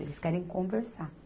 Eles querem conversar.